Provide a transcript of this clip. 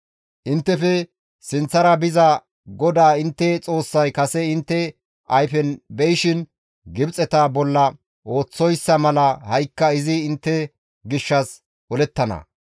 Inttefe sinththara biza GODAA intte Xoossay kase intte ayfen be7ishin Gibxeta bolla ooththoyssa mala ha7ikka izi intte gishshas olettana.